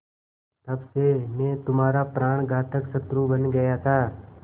तब से मैं तुम्हारा प्राणघातक शत्रु बन गया था